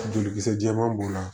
Jolikisɛ jɛman b'o la